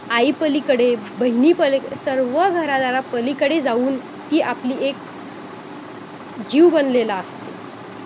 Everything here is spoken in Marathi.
आईपलीकडे बहिणी पलिक सर्व घरादाराला पलीकडे जाऊन ती आपली एक जीव बनलेला असते